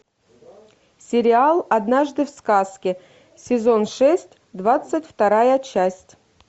сериал однажды в сказке сезон шесть двадцать вторая часть